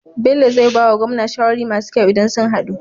Bello zai bawa gwamna shawarori masu kyau idan sun hadu